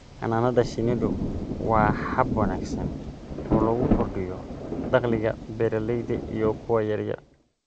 Xannaanada shinnidu waa hab wanaagsan oo lagu kordhiyo dakhliga beeralayda iyo kuwa yaryar.